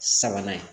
Sabanan ye